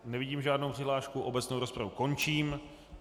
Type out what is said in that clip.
Nevidím žádnou přihlášku, obecnou rozpravu končím.